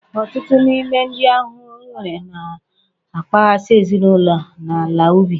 Ọtụtụ n'ime ụdị ahụhụ enwere na-akpaghasị ezinụlọ na ala ubi